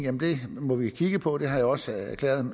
at det må vi kigge på og jeg har også